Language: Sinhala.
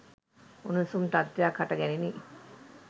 උණුසුම් තත්වයක් හට ගැනිණි